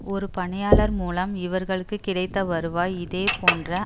ஒரு பணியாளர்மூலம் இவர்களுக்குக் கிடைத்த வருவாய் இதேபோன்ற